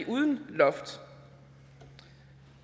uden loft